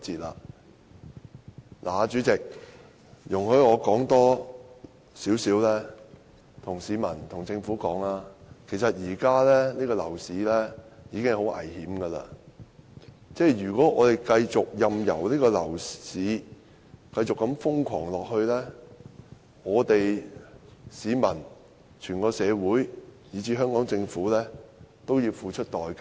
代理主席，容許我對市民及政府說多一點，現時的樓市已經很危險，如果我們繼續任由樓市瘋狂下去，市民、整個社會以至香港政府都要付出代價。